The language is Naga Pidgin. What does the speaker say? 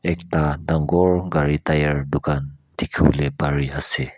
ekta dagur gari tire dukan dekhi bole Pari ase.